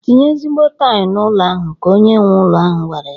"Tinye ezigbo tail n'ụnọ ahụ!" ka onye nwe ụnọ ahụ gwara ya.